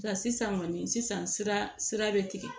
Nka sisan kɔni sisan sira bɛ tigɛ